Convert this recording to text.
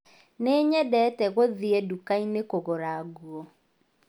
Nĩnyendete gũthiĩ dũkainĩ kũgũra ngũo